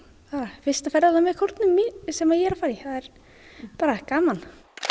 fyrsta ferðalagið með kórnum sem ég er að fara í bara gaman